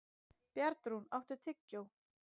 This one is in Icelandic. Bjarnrún, áttu tyggjó?